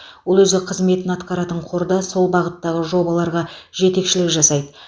ол өзі қызметін атқаратын қорда сол бағыттағы жобаларға жетекшілік жасайды